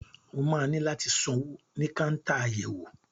O máa ní láti sanwó ní káńtà àyẹ̀wò.